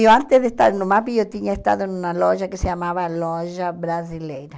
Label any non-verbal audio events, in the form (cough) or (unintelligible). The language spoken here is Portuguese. Eu antes de estar no, (unintelligible) eu tinha estado em uma loja que se chamava Loja Brasileira.